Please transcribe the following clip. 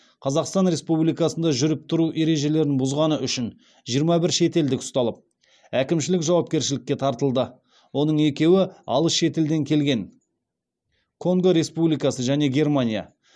қазақстан республикасында жүріп тұру ережелерін бұзғаны үшін жиырма бір шетелдік ұсталып әкімшілік жауапкершілікке тартылды оның екеуі алыс шетелден келген конго республикасы және германия